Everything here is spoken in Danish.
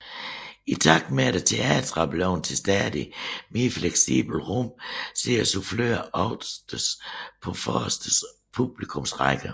I takt med at teatrene er blevet til stadigt mere fleksible rum sidder suffløren oftest på forreste publikumsrække